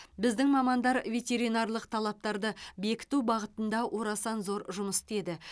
біздің мамандар ветеринарлық талаптарды бекіту бағытында орасан зор жұмыс істеді